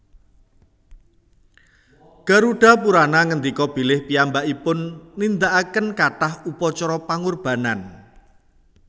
Garudapurana ngendika bilih piyambakipun nindakaken kathah upacara pangorbanan